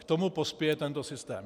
K tomu pospěje tento systém.